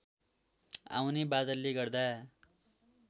आउने बादलले गर्दा